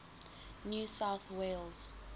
new south wales